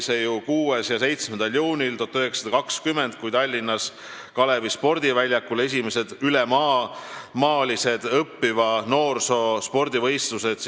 6. ja 7. juunil 1920 olid Tallinnas Kalevi spordiväljakul kavas esimesed ülemaalised õppiva noorsoo spordivõistlused.